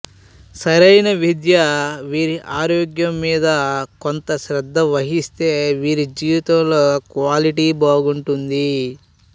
సరైన విద్య వీరి ఆరోగ్యం మీద కొంత శ్రద్ధ వహిస్తే వీరి జీవితంలో క్వాలిటీ బాగుంటుంది